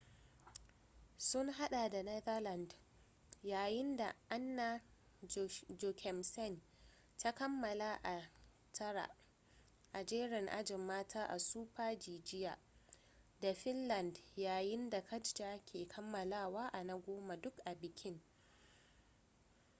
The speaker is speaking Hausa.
sun hada da netherlands yayin da anna jochemsen ta kammala a ta tara a jerin ajin mata a super-g jiya da finland yayin da katja ke kammalawa a na goma duk a bikin